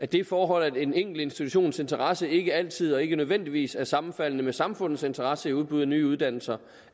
det forhold at en enkelt institutions interesse ikke altid og ikke nødvendigvis er sammenfaldende med samfundets interesse i udbud af nye uddannelser